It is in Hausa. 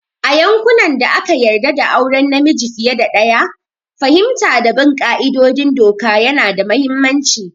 A yankunan da aka yarda da auren namiji fiye da ɗaya, fahimta da bin ƙa'idodin doka yana da mahimmanci